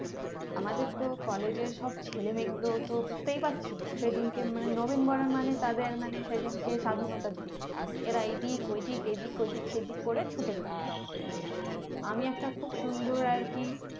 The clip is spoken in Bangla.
আমাদের তো college এর সব ছেলেমেয়ে গুলো তো বুজতেই পারছো সেদিনকে মানে নবীন বরন মানে তাদের মানে সেদিনকে স্বাধীনতার দিন এরা এই দিক ওই দিক এই দিক ওই দিক সেই দিক করে ছুটে বেড়াল তো আমি একটা খুব সুন্দর আরকি